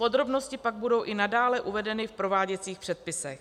Podrobnosti pak budou i nadále uvedeny v prováděcích předpisech.